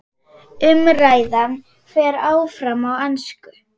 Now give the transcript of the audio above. Umræðan fer fram á ensku.